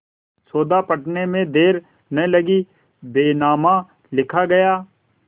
सौदा पटने में देर न लगी बैनामा लिखा गया